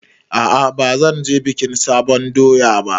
A'a bazan je bikin sabon doya ba